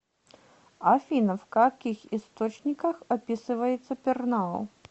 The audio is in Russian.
афина в каких источниках описывается пернау